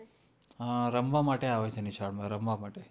હા રમવા માટે આવે છે નિશાળમાં રમવા માટે,